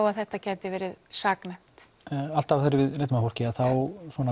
að þetta gæti verið saknæmt alltaf þegar við leitum að fólki þá